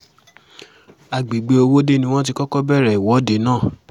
àgbègbè owóde ni wọ́n ti kọ́kọ́ bẹ̀rẹ̀ ìwọ́de náà